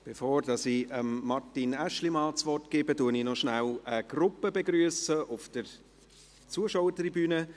Bevor ich Martin Aeschlimann das Wort gebe, begrüsse ich rasch eine Gruppe auf der Zuschauertribüne.